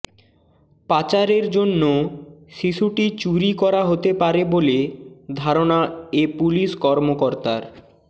পাচারের জন্য শিশুটি চুরি করা হতে পারে বলে ধারনা এ পুলিশ কর্মকর্তার